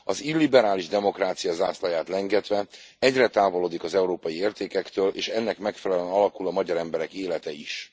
Az illiberális demokrácia zászlaját lengetve, egyre távolodik az európai értékektől, és ennek megfelelően alakul a magyar emberek élete is.